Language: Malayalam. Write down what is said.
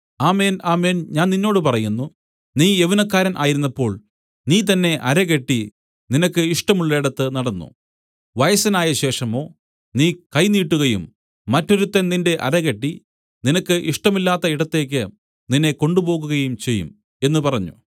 ആമേൻ ആമേൻ ഞാൻ നിന്നോട് പറയുന്നു നീ യൗവനക്കാരൻ ആയിരുന്നപ്പോൾ നീ തന്നേ അരകെട്ടി നിനക്ക് ഇഷ്ടമുള്ളേടത്ത് നടന്നു വയസ്സനായശേഷമോ നീ കൈ നീട്ടുകയും മറ്റൊരുത്തൻ നിന്റെ അരകെട്ടി നിനക്ക് ഇഷ്ടമില്ലാത്ത ഇടത്തേക്ക് നിന്നെ കൊണ്ടുപോകുകയും ചെയ്യും എന്നു പറഞ്ഞു